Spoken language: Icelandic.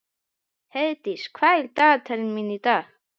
Heiðdís, hvað er í dagatalinu mínu í dag?